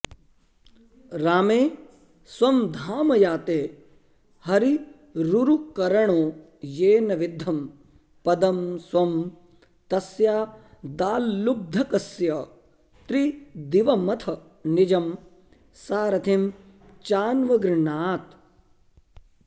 रामे स्वं धाम याते हरिरुरुकरुणो येन विद्धं पदं स्वं तस्यादाल्लुब्धकस्य त्रिदिवमथ निजं सारथिं चान्वगृह्णात्